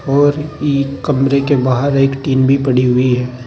और ई कमरे के बाहर एक टीन भी पड़ी हुई है।